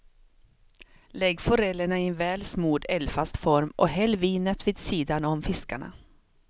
Lägg forellerna i en väl smord, eldfast form och häll vinet vid sidan om fiskarna.